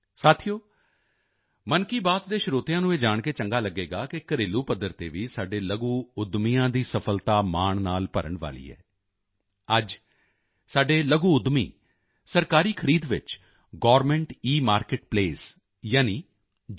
ਸਾਥੀਓ ਮਨ ਕੀ ਬਾਤ ਦੇ ਸਰੋਤਿਆਂ ਨੂੰ ਇਹ ਜਾਣ ਕੇ ਚੰਗਾ ਲਗੇਗਾ ਕਿ ਘਰੇਲੂ ਪੱਧਰ ਤੇ ਵੀ ਸਾਡੇ ਲਘੂ ਉੱਦਮੀਆਂ ਦੀ ਸਫ਼ਲਤਾ ਮਾਣ ਨਾਲ ਭਰਨ ਵਾਲੀ ਹੈ ਅੱਜ ਸਾਡੇ ਲਘੂ ਉੱਦਮੀ ਸਰਕਾਰੀ ਖਰੀਦ ਵਿੱਚ ਗਵਰਨਮੈਂਟ ਇਮਾਰਕੇਟ ਪਲੇਸ ਯਾਨੀ ਜੀ